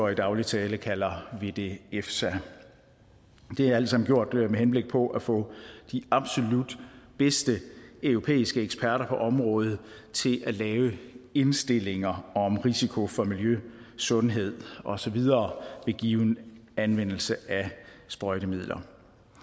i daglig tale kalder vi det efsa det er alt sammen gjort med henblik på at få de absolut bedste europæiske eksperter på området til at lave indstillinger om risiko for miljø sundhed og så videre ved given anvendelse af sprøjtemidler